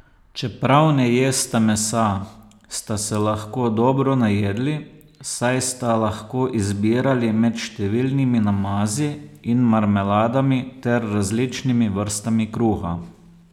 Čeprav ne jesta mesa, sta se lahko dobro najedli, saj sta lahko izbirali med številnimi namazi in marmeladami ter različnimi vrstami kruha.